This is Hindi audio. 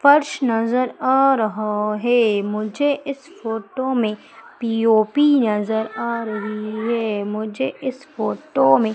फर्श नजर आ रहा है। मुझे इस फोटो में पी_ओ_पी नजर आ रही है मुझे इस फोटो में--